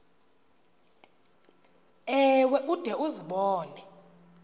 ewe ude uzibone